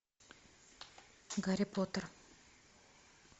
гарри поттер